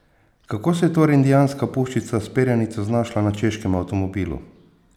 Kako se je torej indijanska puščica s perjanico znašla na češkem avtomobilu?